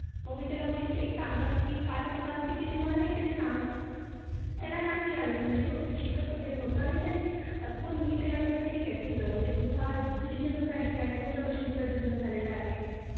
मग मी त्याला बोलले की एक काम कर पाच आणि पाच किती मला हे तरी सांग त्याला नाही आल म्हणजे तो शिकत वैगरे नव्हता हे त्यानी आता कोण मी त्याला म्हटल ठिक आहे तुझा म्हणजे तुझं तुझी जन्म तारीख काय कोणत्या वर्षी तुझा जन्म झालेला आहे